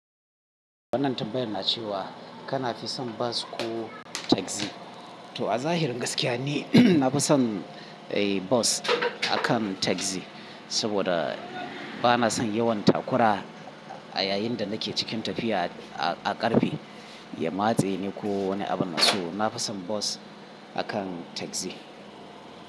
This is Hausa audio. Wannan tabbyan na ce wa, kana fi son bas ko tagzi? To a zahirin gaskiya ne, na fi son, eh, bus akan tagzi. Saboda bana son yawan takura a yayin da nake cikin tafiya a, a ƙarfe. Ya matse ne ko wani abu na so. Na fi son bus akan tagzi.